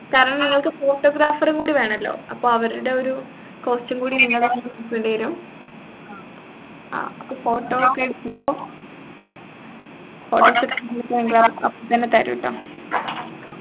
കാരണം നിങ്ങൾക്ക് photographer കൂടി വേണല്ലോ അപ്പൊ അവരുടെ ഒരു cost കൂടി നിങ്ങളെ വരും അപ്പൊ photo ഒക്കെ എടുക്കുമ്പോ photos കെ അപ്പൊ തന്നെ തരും കേട്ടോ